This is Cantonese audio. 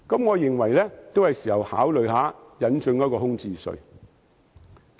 我認為現在是考慮引進空置稅的時候。